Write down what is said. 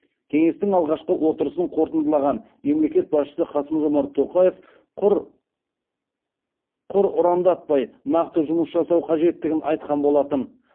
кеңестің алғашқы отырысын қорытындылаған мемлекет басшысы қасым жомарт тоқаев құр ұрандатпай нақты жұмыс жасау қажеттігін айтқан болатын